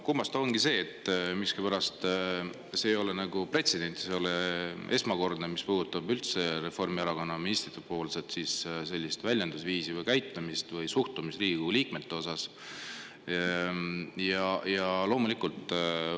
Kummastav ongi see, et see ei ole pretsedent, Reformierakonna ministrite selline väljendusviis või käitumine või suhtumine Riigikogu liikmetesse ei ole esmakordne.